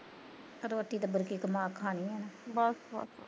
ਰੋਟੀ ਤਾਂ ਬੁਰਕੀ ਕਮਾ ਕਹਾਣੀ ਐ ਨਾ